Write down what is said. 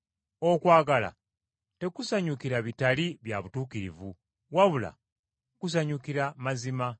Okwagala tekusanyukira bitali bya butuukirivu, wabula kusanyukira mazima.